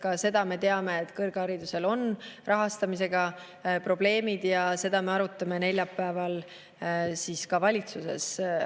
Ka seda me teame, et kõrghariduse rahastamisega on probleemid ja seda me arutame neljapäeval valitsuses.